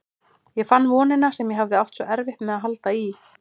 Ég fann vonina sem ég hafði átt svo erfitt með að halda í.